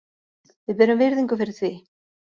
Við berum virðingu fyrir því.